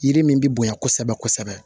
Yiri min bɛ bonya kosɛbɛ kosɛbɛ